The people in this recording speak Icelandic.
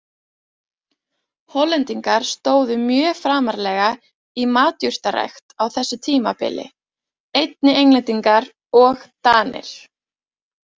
Hollendingar stóðu mjög framarlega í matjurtarækt á þessu tímabili, einnig Englendingar og Danir.